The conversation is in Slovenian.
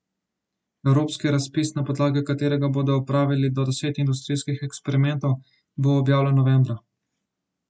Evropski razpis, na podlagi katerega bodo opravili do deset industrijskih eksperimentov, bo objavljen novembra.